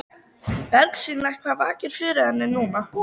Bersýnilegt hvað vakir fyrir henni núna.